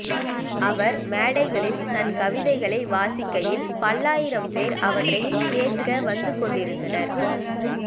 அவர் மேடைகளில் தன் கவிதைகளை வாசிக்கையில் பல்லாயிரம்பேர் அவற்றைக் கேட்க வந்துகொண்டிருந்தனர்